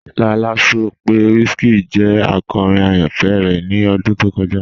Lọlá sọ pé WizKid jẹ akọ́rin ayánfẹ́ rẹ ni ọdún tó kọja.